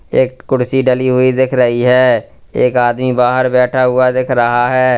एक कुर्सी डली हुई दिख रही है एक आदमी बाहर बैठा हुआ दिख रहा है।